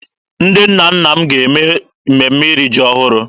Ndị ụmụnna m ga-eme mmemme iri ji ọhụrụ.